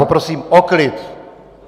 Poprosím o klid.